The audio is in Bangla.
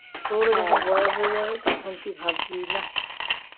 তোর যখন বয়স হয়ে যাবে তখন তুই ভাববি